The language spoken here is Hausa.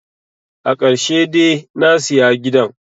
Akarshe de nasiya gidan